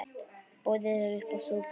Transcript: Boðið er uppá súpu.